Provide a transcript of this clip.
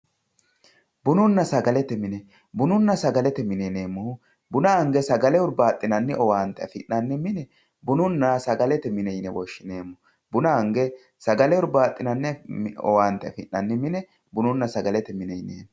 bununna sagalete mine bununna sagalete mine yineemohu buna ange sagale hurbaaxinanni owaante afi'nanni mine bununna sagalete mine yine woshshineemo buna ange sagale hurbaaxinanni owaante afi'nanni mine bununna sagalete mine yineemo.